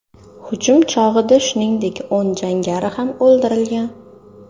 Hujum chog‘ida, shuningdek o‘n jangari ham o‘ldirilgan.